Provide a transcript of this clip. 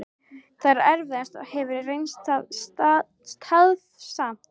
Það er erfiðast og hefur reynst tafsamt.